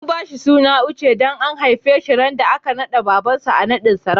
An ba shi suna Òche dan an haife shi ran da aka yi ma baba'n nadin sarauta.